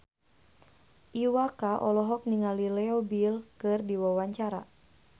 Iwa K olohok ningali Leo Bill keur diwawancara